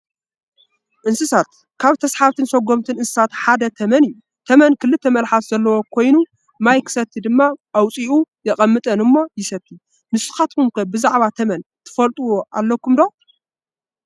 እንስሳት፡- ካብ ተሳሓብትን ሰጎምትን እንስሳታት ሓደ ተመን እዩ፡፡ ተመን ክልተ መልሓስ ዘለዎ ኮይኑ ማይ ክሰቲ ድማ ኣውፂኡ የቕመጠን እሞ ይሰቲ፡፡ ንስኻትኩም ከ ብዛዕባ ተመን ትፈልጥዎ ኣለኩም ዶ?